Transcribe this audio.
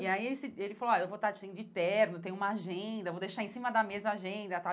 E aí ele ele falou, ó, eu vou estar de terno, tem uma agenda, vou deixar em cima da mesa a agenda e tal.